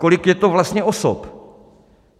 Kolik je to vlastně osob?